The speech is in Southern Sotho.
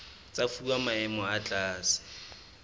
tsa fuwa maemo a tlase